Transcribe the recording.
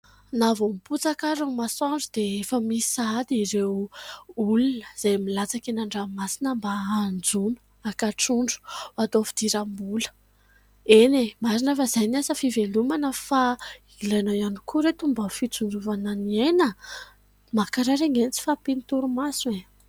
Na vao miposaka ary ny masoandro dia efa misy sahady ireo olona izay milatsaka eny an-dranomasina mba hanjono haka trondro ho atao fidiram-bola. Eny e ! Marina fa izay ny asa fivelomana, fa ilaina ihany koa ry ireto ny mba fitsinjovana ny aina, mankarary anie ny tsy fahampian'ny torimaso e !